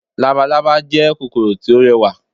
Labalálá jẹ́ kòkòrò tó rẹwà